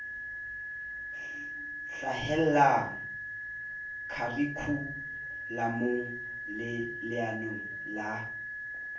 hlahella kharikhulamong le leanong la